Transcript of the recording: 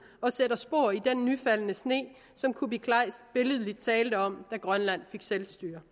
og sætter spor i den nyfaldne sne som kuupik kleist billedligt talte om da grønland fik selvstyre